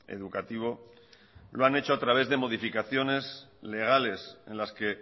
educativo lo han hecho a través de modificaciones legales en las que